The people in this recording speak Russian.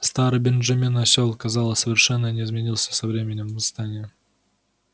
старый бенджамин осёл казалось совершенно не изменился со временем восстания